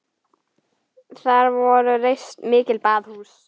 Þar voru reist mikil baðhús.